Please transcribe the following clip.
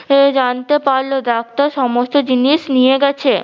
সে জানতে পারলো ডাক্তার সমস্ত জিনিস নিয়ে গেছে।